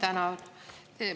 Ma tänan!